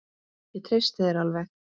Ég treysti þér alveg.